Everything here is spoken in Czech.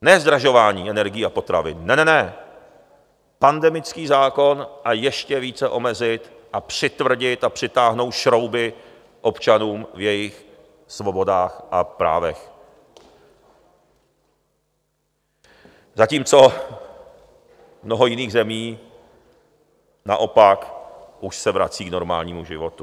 Ne zdražování energií a potravin, ne, ne, ne, pandemický zákon a ještě více omezit a přitvrdit a přitáhnout šrouby občanům v jejich svobodách a právech, zatímco mnoho jiných zemí naopak už se vrací k normálnímu životu.